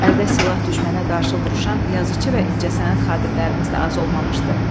Əldə silah düşmənə qarşı vuruşan yazıçı və incəsənət xadimlərimiz də az olmamışdı.